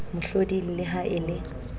mohloding le ha e le